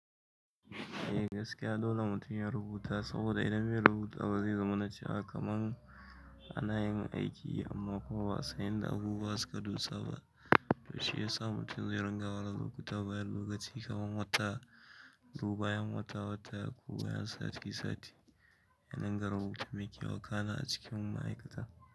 Eh gaskiya dole mutum ya rubuta saboda idan zai rubuta ba zai zama na cewa kaman ana yin aiki amma kuwa ba'a san inda abubuwa suka dosa ba. Shiyasa mutum zai rinƙa rubuta bayan lokaci kaman wata ko bayan wata watako bayan sati sati. Ya rinƙa rubutu mai ke wa kana a cikin ma'aikata.